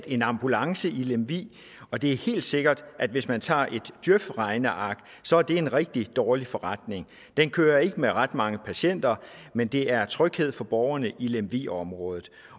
en ambulance i lemvig og det er helt sikkert at hvis man tager et djøf regneark så er det en rigtig dårlig forretning den kører ikke med ret mange patienter men det er tryghed for borgerne i lemvig området